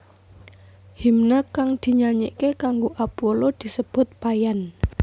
Himne kang dinyanyike kanggo Apollo disebut paian